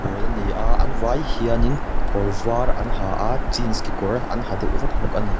pawl ani a an vai hianin kawr var an ha a jeans kekawr an ha deuh vek bawk ani.